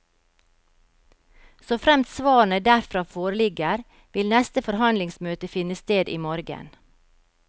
Såfremt svarene derfra foreligger, vil neste forhandlingsmøte finne sted i morgen.